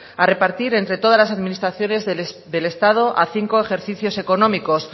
a repartir entre todas las administraciones del estado a cinco ejercicios económicos